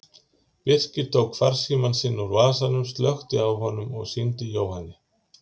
Birkir tók farsímann sinn úr vasanum, slökkti á honum og sýndi Jóhanni.